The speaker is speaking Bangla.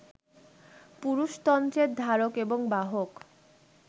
পুরুষতন্ত্রের ধারক এবং বাহক